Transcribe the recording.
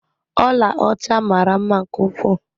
Ọla ọcha mara mma nke ukwuu.